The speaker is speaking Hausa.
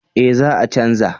Eh za a chanza